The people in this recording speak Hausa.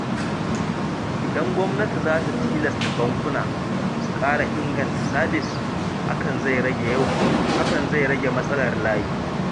Idan gwamnati za ta tilasta bankuna su ƙara inganta sabis, hakan zai rage matsalar layi.